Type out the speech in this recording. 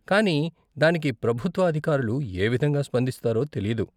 కానీ దానికి ప్రభుత్వ అధికారులు ఏ విధంగా స్పందిస్తారో తెలీదు.